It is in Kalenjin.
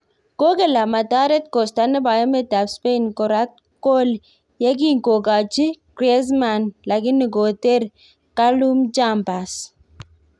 Kokel amataret Costa nebo emt ab spain korat kol ye kin kokachi Griezmann Lakini koter Calum Chambers